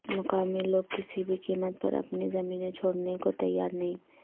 مقامی لوگ کسی بھی قیمت پر اپنی زمینیں چھوڑنے کوتیار نہیں